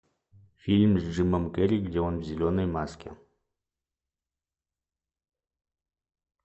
фильм с джимом керри где он в зеленой маске